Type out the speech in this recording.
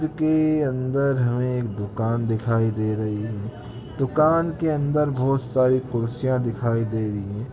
अन्दर हमें एक दुकान दिखाई दे रहीं हैं दुकान के अन्दर बहुत सारे कुर्सियाँ दिखाई दे रही हैं।